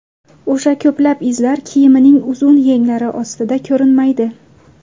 O‘sha ko‘plab izlar kiyimining uzun yenglari ostida ko‘rinmaydi.